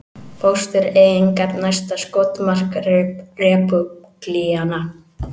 Fóstureyðingar næsta skotmark repúblikana